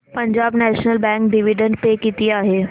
Punjab national bank dividend pay किती आहे